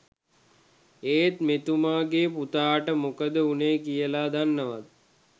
ඒත් මෙතුමගෙ පුතාට මොකද උනේ කියල දන්නවද?